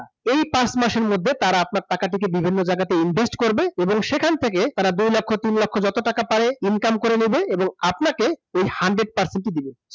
এই পাঁচ মাসের মধ্যে আপনার টাকাটি তারা বিভিন্ন জায়গায় invest করবে এবং সেখান থেকে তারা দুই লক্ষ তিন লক্ষ যত টাকা পারে income করে নেবে এবং আপনাকে এই hundred percent ই দেবে